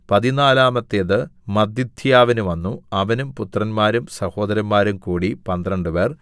പതിനാലാമത്തേത് മത്ഥിഥ്യാവിന് വന്നു അവനും പുത്രന്മാരും സഹോദരന്മാരും കൂടി പന്ത്രണ്ടുപേർ